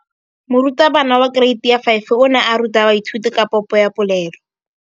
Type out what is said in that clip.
Moratabana wa kereiti ya 5 o ne a ruta baithuti ka popô ya polelô.